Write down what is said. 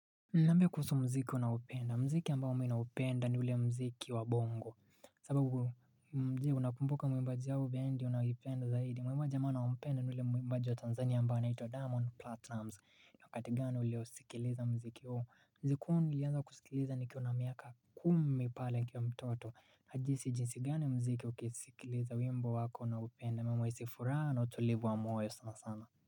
Niambie kuhusu muziki unaopenda. Muziki ambao mi naupenda ni ule mziki wa bongo. Sababu muziki unakumbuka mwimbaji ya bendi unayoipenda zaidi. Mwimbaji ambao nampenda ni ule mwimbaji wa Tanzania ambao naitwa Diamond Platinumz. Na kati gani ulio sikiliza muziki huo. Muziki huo nilianza kusikiliza nikiwa na miaka kumi pale nikiwa mtoto. Najisi jinsi gani muziki ukisikiliza wimbo wako naupende. Na mhisi furaha na utulivu wa moyo sana sana.